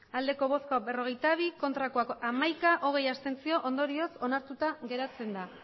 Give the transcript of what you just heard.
hamairu bai berrogeita bi ez hamaika abstentzioak hogei ondorioz onartuta geratzen da